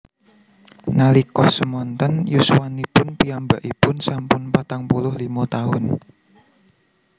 Nalika semonten yuswanipun piyambakipun sampun patang puluh limo taun